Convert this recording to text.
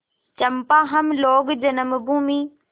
चंपा हम लोग जन्मभूमि